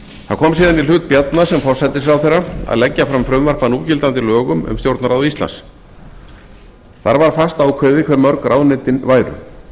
það kom síðan í hlut bjarna sem forsætisráðherra að leggja fram frumvarp að núgildandi lögum um stjórnarráð íslands þar var fastákveðið hvað mörg ráðuneytin væru